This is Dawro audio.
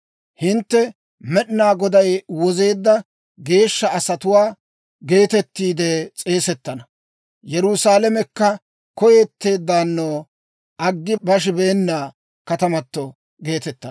Hintte, «Med'inaa Goday Wozeedda Geeshsha Asatuwaa» geetettiide s'eesettana; Yerusaalamekka, «Koyetteeddaano, Aggi Bashibeena Katamato» geetettana.